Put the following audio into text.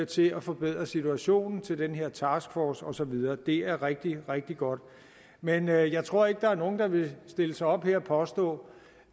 til at forbedre situationen til den her taskforce og så videre det er rigtig rigtig godt men jeg jeg tror ikke der er nogen der vil stille sig op her og påstå